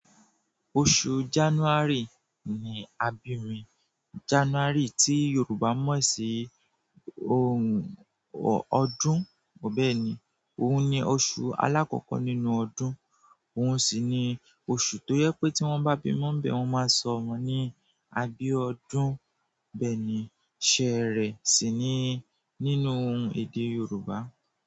Oṣù January ni abi mi January tí Yorùbá mọ̀ sí ohun ọdún bẹ́ẹ̀ni, òun ni oṣù alákọ́kọ́ nínú ọdún, òun sì ni oṣù tó jẹ pé tí wọ́n bá bímọ bẹ̀ wọ́n máa sọ ọmọ ní Abiodun. Bẹ́ẹ̀ni, ṣerẹ̀ sì ni nínú èdè Yorùbá.